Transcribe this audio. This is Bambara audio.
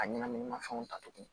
A ɲɛnaminimafɛnw ta tuguni